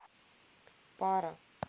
пара